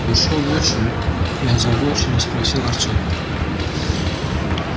вошёл отчим и озабоченно спросил артёма